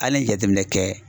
Hali n'e ye jateminɛ kɛ